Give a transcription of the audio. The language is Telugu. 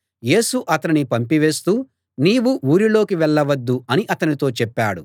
యేసు అతనిని పంపివేస్తూ నీవు ఊరిలోకి వెళ్ళవద్దు అని అతనితో చెప్పాడు